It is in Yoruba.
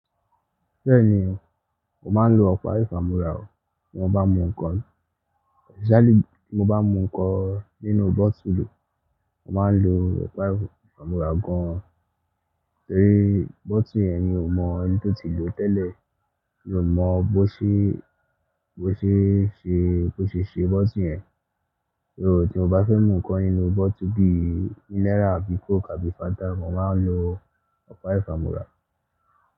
Bẹ́ẹ̀ni, mo máa ń lo ọ̀pá ìfàmúra o tí mo bá mú ǹkan, especially tí mo bá mú ǹkan nínú bottle. Mo máa ń lo Ọ̀pá ìfàmúra gan an. Torí bottle yẹn mi ò mọ ẹni tó ti lò tẹ́lẹ̀, mi ò mọ bó ṣe, bó ṣe ṣe, bó ṣe ṣe bottle yẹn. Nígbà tí mo bá fẹ́ mú ǹkan nínú bottle bí i Miller àbí Coke àbí Fanta, mo máa ń lo Ọ̀pá ìfàmúra.